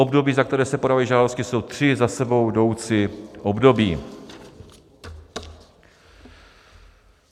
Období, za které se podávají žádosti, jsou tři za sebou jdoucí období.